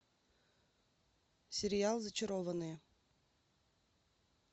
сериал зачарованные